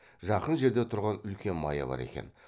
жақын жерде тұрған үлкен мая бар екен